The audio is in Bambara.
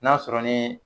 N'a sɔrɔ ni